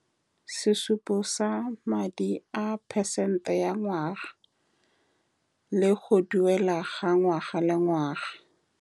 Sesupo sa madi a percent-e ya ngwaga le go duela ga ngwaga le ngwaga.